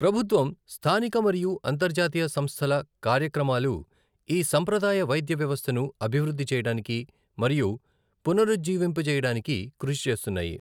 ప్రభుత్వం, స్థానిక మరియు అంతర్జాతీయ సంస్థల కార్యక్రమాలు ఈ సంప్రదాయ వైద్య వ్యవస్థను అభివృద్ధి చేయడానికి మరియు పునరుజ్జీవింపజేయడానికి కృషి చేస్తున్నాయి.